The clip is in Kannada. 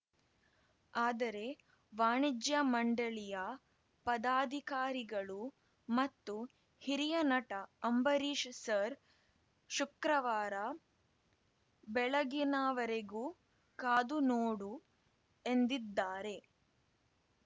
ಆದರೆ ವಾಣಿಜ್ಯ ಮಂಡಳಿಯ ಪದಾಧಿಕಾರಿಗಳು ಮತ್ತು ಹಿರಿಯ ನಟ ಅಂಬರೀಶ್‌ ಸರ್‌ ಶುಕ್ರವಾರ ಬೆಳಗಿನವರೆಗೂ ಕಾದು ನೋಡು ಎಂದಿದ್ದಾರೆ